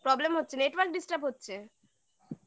problem হচ্ছে network disturb হচ্ছে